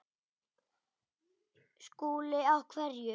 SKÚLI: Á hverju?